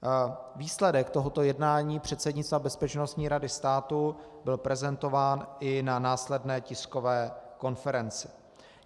Výsledek tohoto jednání předsednictva Bezpečnostní rady státu byl prezentován i na následné tiskové konferenci.